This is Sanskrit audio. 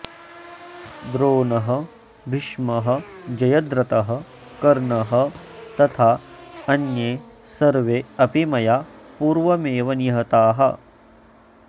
द्रोणः भीष्मः जयद्रथः कर्णः तथा अन्ये सर्वे अपि मया पूर्वमेव निहताः